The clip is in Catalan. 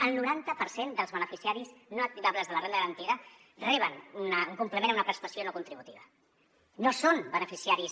el noranta per cent dels beneficiaris no activables de la renda garantida reben un complement o una prestació no contributiva o són beneficiaris